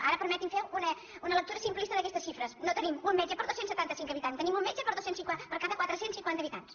ara permeti’m fer una lectura simplista d’aquestes xifres no tenim un metge per dos cents i setanta cinc habitants tenim un metge per cada quatre cents i cinquanta habitants